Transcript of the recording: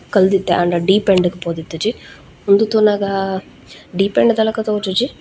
ಕಲ್ದಿತ್ತೆ ಆಂಡ deep end ಗ್ ಪೋದಿತ್ತಿಜಿ ಉಂದು ತೂನಗ ಡೀಪ್ ಎಂಡ್ ದ ಲಕ ತೋಜುಜಿ.